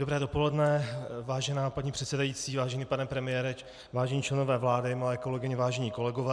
Dobré dopoledne, vážená paní předsedající, vážený pane premiére, vážení členové vlády, milé kolegyně, vážení kolegové.